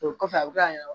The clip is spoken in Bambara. O kɔfɛ a bɛ ka yɛlɛ